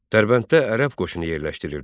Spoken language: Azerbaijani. Dərbənddə ərəb qoşunu yerləşdirilirdi.